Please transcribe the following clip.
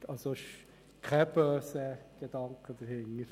Es steckt also kein böser Gedanke dahinter.